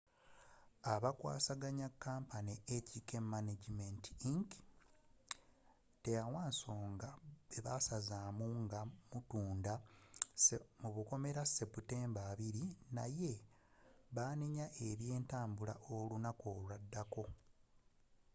abakwasaganya kampuni hk management inc. teyawa nsonga bwebaasazaamu nga mutunda sebutemba 20 naye baanenya ebyentambula olunaku olwaddako